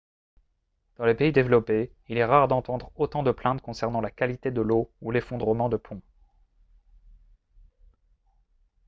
dans les pays développés il est rare d'entendre autant de plaintes concernant la qualité de l'eau ou l'effondrement de ponts